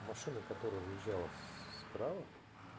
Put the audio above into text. машина которая выезжала справа